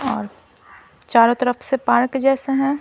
चारों तरफ से पार्क जैसे हैं।